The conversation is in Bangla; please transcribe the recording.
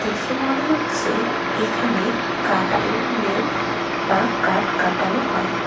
দেখে মনে হচ্ছে এখানে কাঠের মিল বা কাঠ কাটানো হয়।